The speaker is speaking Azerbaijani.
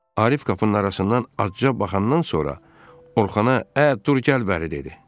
Arif qapının arasından azca baxandan sonra Orxana "ə, dur, gəl bəri" dedi.